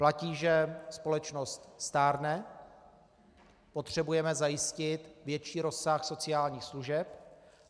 Platí, že společnost stárne, potřebujeme zajistit větší rozsah sociálních služeb.